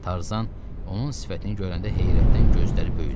Tarzan onun sifətini görəndə heyrətdən gözləri böyüdü.